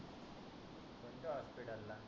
कोणत्य hospital ला